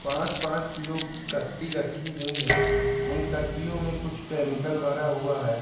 पांच-पांच kilo की कट्टी रखी हुई हैं। उन कट्टियों में कुछ केमिकल भरा हुआ है।